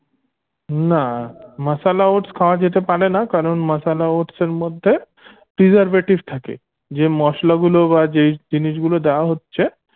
না masala oats খাওয়া যেতে পারেনা কারণ masala oats এর মধ্যে preservative থাকে যে মশলাগুলো বা যে জিনিস গুলো দেয়া হচ্ছে